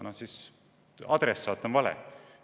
Küsimuse adressaat on vale.